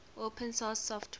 open source software